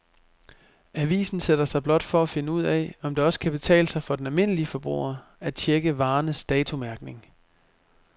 Avisen sætter sig blot for at finde ud af, om det også kan betale sig for den almindelige forbruger at checke varernes datomærkning.